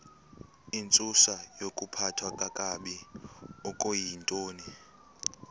intsusayokuphathwa kakabi okuyintoni